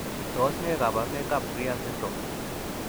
Tos nee koborunoikab Frias syndrome?